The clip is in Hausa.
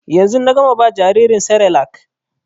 Yanzu na gama ba jaririn serelak